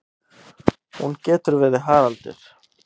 Hún getur verið Haraldur